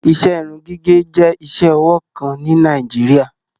Iṣẹ irun-gigẹ jẹ̀ iṣẹ-ọwọ kan ni Nàìjíríà